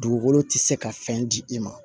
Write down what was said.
Dugukolo tɛ se ka fɛn di i ma